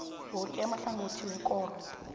woke amahlangothi wekoro